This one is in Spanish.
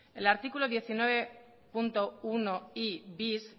el artículo diecinueve punto unoi bis